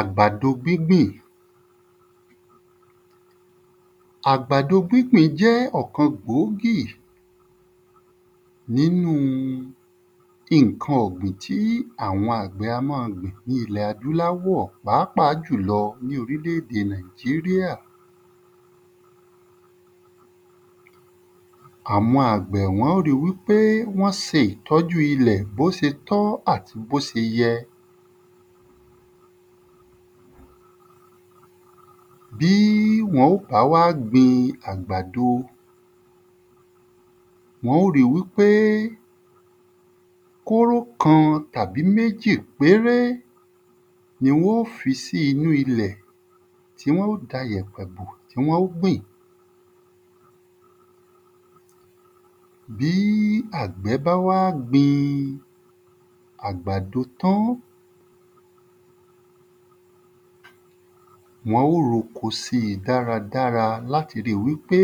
Àgbàdo gbígbìn Àgbàdo gbígbìn jẹ́ ọ̀kan gbòógì n'ínú ìnkan ọ̀gbìn tí àwọn àgbẹ̀ a má a gbìn ní ilẹ̀ adúláwọ̀ pàápàá jùlọ ní orílédè Nàìjíríà Àwọn àgbẹ̀ wọ́n ó ri wí pé wọ́n se ìtọ́jú ilẹ̀ n’ó ti tọ́ àti b’ó ti yẹ. Bí wọn ó bá wá gbin àgbàdo, wọn ó ri wí pé kóró kan tàbí mejì péré ni wọ́n ó fi sí inú ilẹ̀ tí wọ́n ó da 'jẹ̀pẹ̀ bó tí wọ́n ó gbìn. Bí àgbẹ̀ bá wá gbin àgbàdo tán, wọ́n ó r’oko sí dáradára l’áti ri wí pé